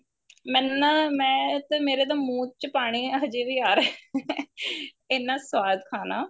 ਮੈਨੂੰ ਨਾ ਮੈਂ ਤੇ ਮੇਰੇ ਤਾਂ ਮੁਹ ਚ ਪਾਣੀ ਹਜੇ ਵੀ ਆਰਿਆ ਇੰਨਾ ਸਵਾਦ ਖਾਣਾ